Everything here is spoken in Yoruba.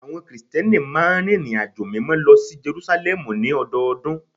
Àwọn Krìsìtẹ́nì máa ń rìnrìnàjò Mímọ́ lọ sí Jerúsálẹ́mù ní ọdọọdún